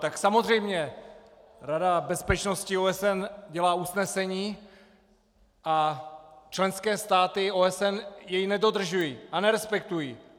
Tak samozřejmě, Rada bezpečnosti OSN dělá usnesení a členské státy OSN je nedodržují a nerespektují.